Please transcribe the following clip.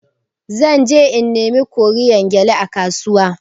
Zan je in nemi koriyan gyalle a kasuwa.